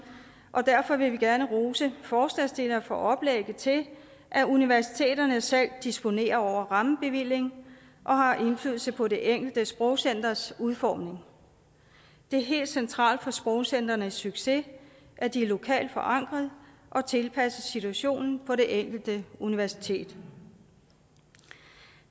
og derfor vil vi gerne rose forslagsstillerne for oplægget til at universiteterne selv disponerer over rammebevilling og har indflydelse på det enkelte sprogcenters udformning det er helt centralt for sprogcentrenes succes at de er lokalt forankret og tilpasset situationen på det enkelte universitet